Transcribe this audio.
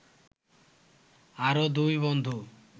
আরও দুই বন্ধু